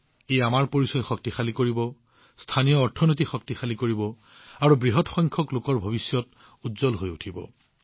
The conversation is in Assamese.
ই আমাৰ পৰিচয় শক্তিশালী কৰিব স্থানীয় অৰ্থনীতি শক্তিশালী কৰিব আৰু বৃহৎ পৰিমাণত জনসাধাৰণৰ ভৱিষ্যত উজ্জ্বল কৰিব